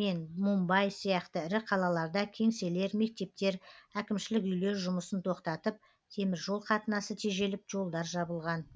мен мумбай сияқты ірі қалаларда кеңселер мектептер әкімшілік үйлер жұмысын тоқтатып темір жол қатынасы тежеліп жолдар жабылған